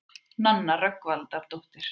Nanna Rögnvaldardóttir.